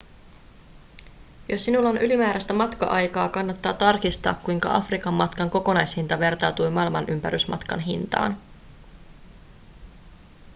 jos sinulla on ylimääräistä matka-aikaa kannattaa tarkistaa kuinka afrikan matkan kokonaishinta vertautuu maailmanympärysmatkan hintaan